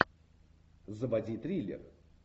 заводи триллер